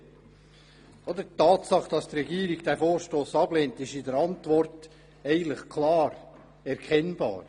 Die Tatsache, dass die Regierung diesen Vorstoss ablehnt, ist in ihrer Antwort klar erkennbar.